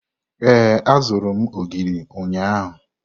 Ee, azụrụ m ogiri ụnyahụ.